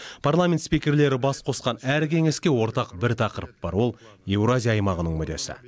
парламент спикерлері бас қосқан әр кеңеске ортақ бір тақырып бар ол еуразия аймағының мүдесі